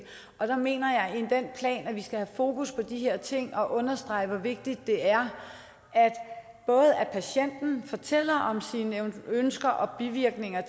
og jeg mener at plan skal have fokus på de her ting og understrege hvor vigtigt det er både at patienten fortæller lægen om sine ønsker og bivirkninger